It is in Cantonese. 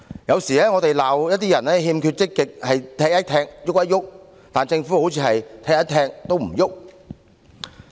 有時我們罵一些人欠缺積極是"踢一踢，郁一郁"，但政府卻像是"踢一踢，都唔郁"。